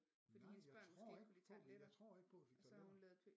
Nej jeg tror ikke jeg tror ikke på at vi fik tarteletter